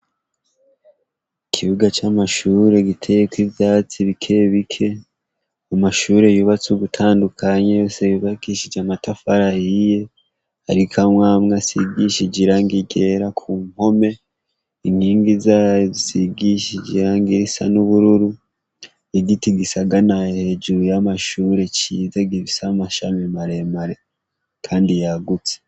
Ikibuga c'amashure giteyeko ivyatsi bikebike umashure yubatse ugutandukanya yose bubakishije amatafara yiye arikamwamwe asigishijirangigera ku npome inkingi zayo zisigishijira ngoirisa n'ubururu igiti gisaga anahhejuru y'amashure ciza givisa amashami maremare, kandi yagutse.